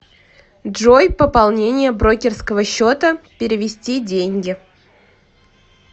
джой пополнение брокерского счета перевести деньги